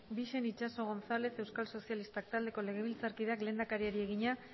bixen itxaso gonzález euskal sozialistak taldeko legebiltzakideak lehendakariari egina